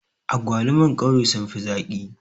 Agwaluman ƙauye sun fi zaƙi